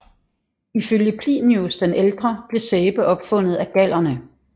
Ifølge Plinius den Ældre blev sæbe opfundet af gallerne